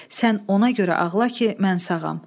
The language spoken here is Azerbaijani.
Sən ona görə ağla ki, mən sağam.